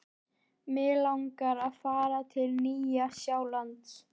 Mig langar að fara til Nýja-Sjálands.